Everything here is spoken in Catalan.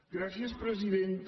gràcies presidenta